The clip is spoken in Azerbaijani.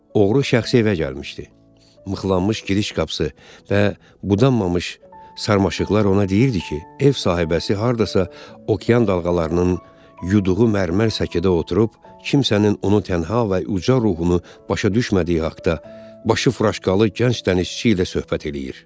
Oğru şəxsi evə gəlmişdi, mıxlanmış giriş qapısı və budanmamış sarmaşıqlar ona deyirdi ki, ev sahibəsi hardasa okean dalğalarının yuduğu mərmər çəkilədə oturub, kimsənin onu tənha və uca ruhunu başa düşmədiyi haqda, başı furaşkalı gənc dənizçi ilə söhbət eləyir.